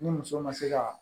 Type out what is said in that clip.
Ni muso ma se kaa